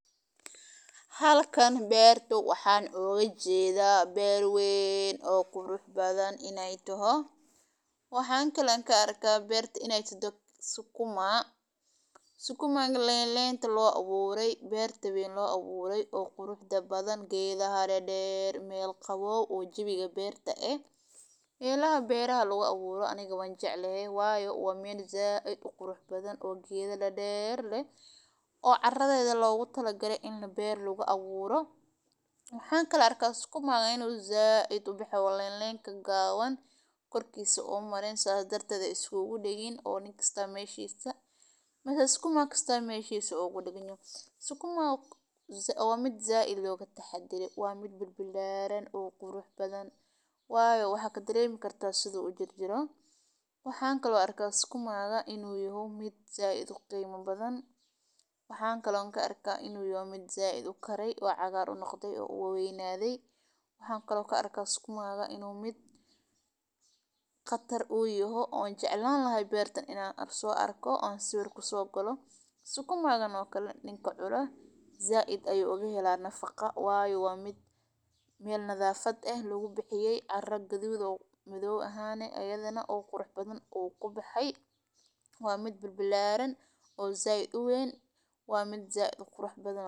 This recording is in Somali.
Halkan beertu waxaan oga jeedaa beer weyn oo qurux badan in ay tohoo, waa hab ka mid ah hababka wax lagu shubayo ee ugu samaysnaan badan ee biyaha si habsami loogu isticmaalo beeraha, kaas oo ay ku jirto in biyaha si taxadar leh loo marinayo dhirta iyada oo la adeegsanayo tuubooyin yaryar oo biyaha si gooni ah ugu soo dhiyaariya dhirta meesha ay ku badan yihiin, sidaa darteed waa hab aad u wax ku ool ah oo ka caawiya in la yareeyo isticmaalka biyaha iyo tamarta lagu wado in la shubo biyaha, sidoo kale wuxuu kor u qaadayaa samaynta dhirta iyada oo la ilaalinayo in la isticmaalo macdanta iyo biyaha si habsami loogu sameeyo.